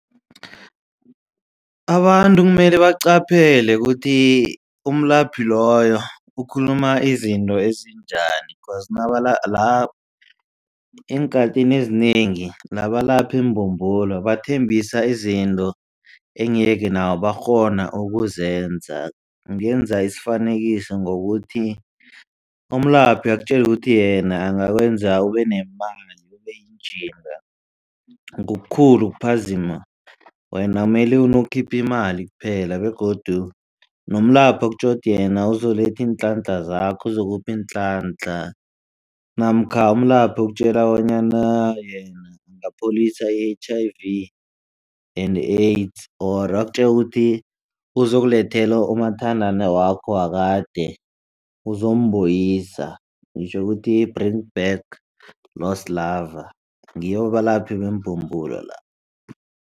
Abantu kumele baqaphele ukuthi umlaphi loyo ukhuluma izinto ezinjani cause eenkhathini ezinengi nabalaphi mbumbulo bathembisa izinto engeke nabo bakghona ukuzenza ngenza isifanekiso ngokuthi umlaphi akutjele ukuthi yena angakwenza ubenemali ubeyinjinga ngokukhulu ukuphazima. Wena mele unokhipha imali kuphela begodu nomlaphi akutjele ukuthi yena uzokuletha iinhlanhla zakho uzokupha iinhlanhla namkha umlaphi ukutjela bonyana yena angapholisa i-H_I_V and AIDS ori akutjele ukuthi uzokulethela umathandana wakho wakade uzombuyisa ngitjho ukuthi bring back lost lover ngitjho ukuthi ngibo abelaphi bembumbulo laba.